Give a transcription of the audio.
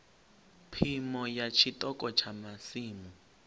phimo ya tshiṱoko tsha masimu